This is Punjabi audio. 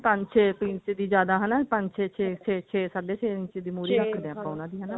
ਪੰਜ ਛੇ ਇੰਚ ਦੀ ਜਿਆਦਾ ਹਨਾ ਪੰਜ ਛੇ ਛੇ ਸਾਡੇ ਛੇ ਇੰਚ ਦੀ ਮੁਹਰੀ ਰੱਖਦੇ ਹਾਂ ਹਨਾ ਆਪਾਂ ਉਹਨਾਂ ਦੀ